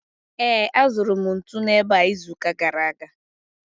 Ee, azụrụ m ntu n’ebe a izuụka gara aga.